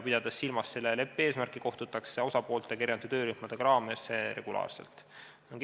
Pidades silmas selle leppe eesmärki, kohtutakse osapooltega eraldi töörühmade raames regulaarselt.